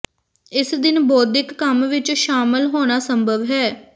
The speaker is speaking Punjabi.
ਇਸ ਦਿਨ ਬੌਧਿਕ ਕੰਮ ਵਿੱਚ ਸ਼ਾਮਲ ਹੋਣਾ ਸੰਭਵ ਹੈ